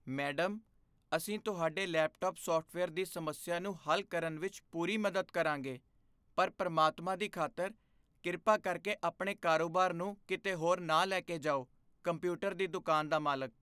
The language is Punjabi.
ਮੈਡਮ, ਅਸੀਂ ਤੁਹਾਡੇ ਲੈਪਟਾਪ ਸਾਫਟਵੇਅਰ ਦੀ ਸਮੱਸਿਆ ਨੂੰ ਹੱਲ ਕਰਨ ਵਿੱਚ ਪੂਰੀ ਮਦਦ ਕਰਾਂਗੇ ਪਰ ਪ੍ਰਮਾਤਮਾ ਦੀ ਖ਼ਾਤਰ, ਕਿਰਪਾ ਕਰਕੇ ਆਪਣੇ ਕਾਰੋਬਾਰ ਨੂੰ ਕਿਤੇ ਹੋਰ ਨਾ ਲੈ ਕੇ ਜਾਓ ਕੰਪਿਊਟਰ ਦੀ ਦੁਕਾਨ ਦਾ ਮਾਲਕ